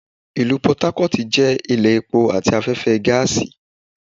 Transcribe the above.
Ìlú Port Harcourt jẹ́ ilé epo àti afẹ́fẹ́ gáàsì